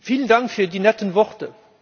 Vielen Dank für die netten Worte.